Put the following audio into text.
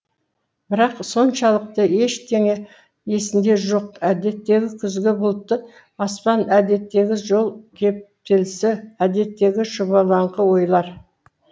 бірақ соншалықты ештеңе есінде жоқ әдеттегі күзгі бұлтты аспан әдеттегі жол кептелісі әдеттегі шұбалыңқы ойлар